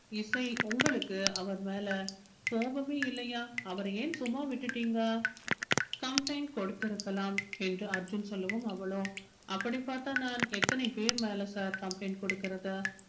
இசை உங்களுக்கு அவர் மேல கோபமே இல்லையா அவரை ஏன் சும்மா விட்டுட்டீங்க complaint கொடுத்திருக்கலாம் என்று அர்ஜுன் சொல்லவும் அவளோ அப்படி பார்த்தால் நான் எத்தனை பேர் மேல sir complaint கொடுக்கிறது